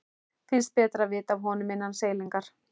Finnst betra að vita af honum innan seilingar.